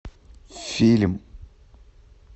фильм